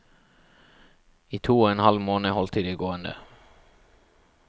I to og en halv måned holdt de det gående.